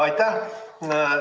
Aitäh!